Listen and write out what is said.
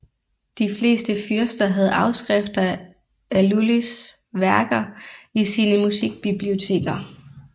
De fleste fyrster havde afskrifter af Lullys værker i sine musikbiblioteker